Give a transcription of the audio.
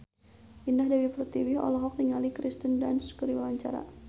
Indah Dewi Pertiwi olohok ningali Kirsten Dunst keur diwawancara